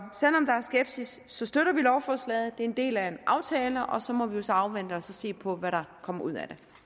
skepsis støtter vi lovforslaget det er en del af en aftale og så må vi jo så afvente og se på hvad der kommer ud